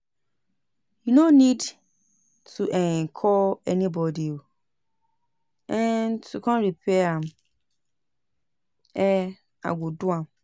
You no need to um call anybody um to come repair am um I go do am